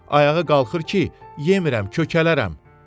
Ayağı qalxır ki, yemirəm, kökələrəm.